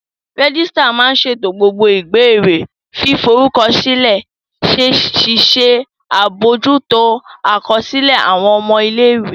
Rẹ́gísírà máa n ṣètò gbogbo ìbéèrè fíforúkọsílẹ̀, ṣíṣe àbojútó àkọsílẹ̀ àwọn ọmọ ilé-ìwé